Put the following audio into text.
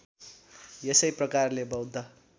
यसै प्रकारले बौद्ध